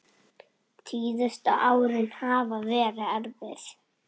Síðustu árin hafa verið erfið.